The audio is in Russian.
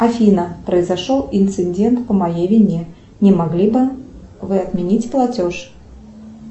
афина произошел инцидент по моей вине не могли бы вы отменить платеж